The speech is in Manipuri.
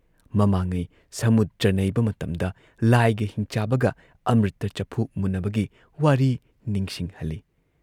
ꯃꯃꯥꯡꯉꯩ ꯁꯃꯨꯗ꯭ꯔ ꯅꯩꯕ ꯃꯇꯝꯗ ꯂꯥꯏꯒ ꯍꯤꯡꯆꯥꯕꯒ ꯑꯃ꯭ꯔꯤꯇ ꯆꯐꯨ ꯃꯨꯟꯅꯕꯒꯤ ꯋꯥꯔꯤ ꯅꯤꯡꯁꯤꯡꯍꯜꯂꯤ ꯫